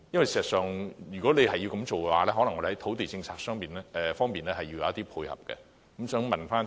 事實上，如果要這樣做，可能在土地政策方面需要作出一些配合。